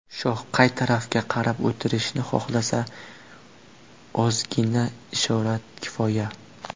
Shoh qay tarafga qarab o‘tirishni xohlasa, ozgina ishorat kifoya.